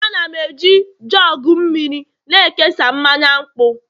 Ana m eji jugu mmiri a na-ekesa mmanya nkwụ